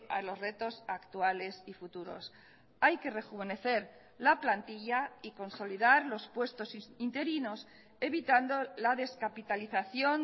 a los retos actuales y futuros hay que rejuvenecer la plantilla y consolidar los puestos interinos evitando la descapitalización